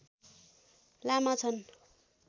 लामा छन्